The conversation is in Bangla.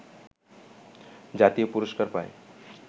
জাতীয় পুরস্কার পায়